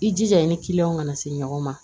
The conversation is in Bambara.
I jija i ni kana se ɲɔgɔn ma